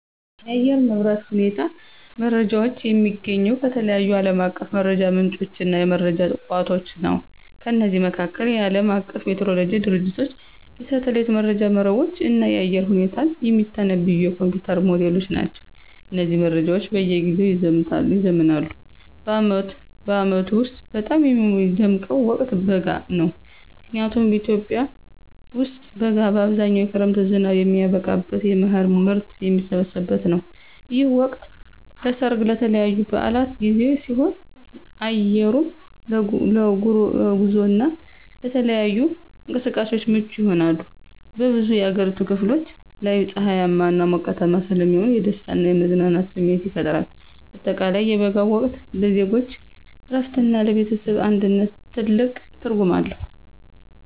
የአየር ንብረት ሁኔታ መረጃዎችን የማገኘው ከተለያዩ ዓለም አቀፍ የመረጃ ምንጮችና የመረጃ ቋቶች ነው። ከነዚህም መካከል፦ የዓለም አቀፉ ሜትሮሎጂ ድርጅቶች፣ የሳተላይት መረጃ መረቦች፣ እና የአየር ሁኔታን የሚተነብዩ የኮምፒዩተር ሞዴሎች ናቸው። እነዚህ መረጃዎች በየጊዜው ይዘምናሉ። በዓመቱ ውስጥ በጣም የምወደው ወቅት በጋ ነው። ምክንያቱም በኢትዮጵያ ውስጥ በጋ በአብዛኛው የክረምት ዝናብ የሚያበቃበትና የመኸር ምርት የሚሰበሰብበት ነው። ይህ ወቅት ለሠርግና ለተለያዩ በዓላት ጊዜ ሲሆን፣ አየሩም ለጉዞና ለተለያዩ እንቅስቃሴዎች ምቹ ይሆናል። በብዙ የአገሪቱ ክፍሎች ላይ ፀሐያማና ሞቃታማ ስለሚሆን የደስታና የመዝናናት ስሜት ይፈጥራል። በአጠቃላይ የበጋው ወቅት ለዜጎች እረፍትና ለቤተሰብ አንድነት ትልቅ ትርጉም አለው።